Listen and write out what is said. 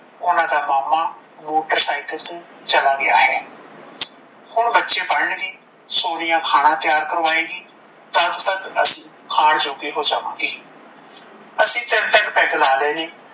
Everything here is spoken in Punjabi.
ਓਹਨਾ ਦਾ ਮਾਮਾ motorcycle ਤੋਂ ਚੱਲਾ ਗਿਆ ਹੈ। ਹੁਣ ਬੱਚੇ ਪੜਨਗੇ, ਸੋਨੀਆ ਖਾਣਾ ਤਿਆਰ ਕਰਵਾਏਗੀ, ਤਦ ਤਕ ਅਸੀਂ ਖਾਣ ਯੋਗੇ ਹੋ ਜਾਵਾਂਗੇ। ਅਸੀਂ ਤਦ ਤੱਕ peg ਲਾ ਲੈਣੇ